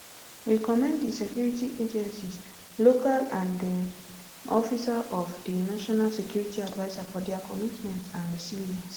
we commend di security agencies locals and di um office of di national security adviser for dia commitment and resilience